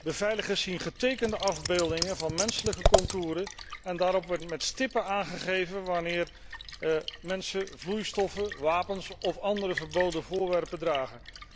Beveiligers zien getekende afbeeldingen van menselijke contouren en daarop wordt met stippen aangegeven wanneer mensen vloeistoffen, wapens of andere verboden voorwerpen dragen.